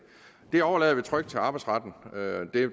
overlader vi trygt til arbejdsretten